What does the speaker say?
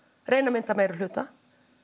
reyni að mynda meirihluta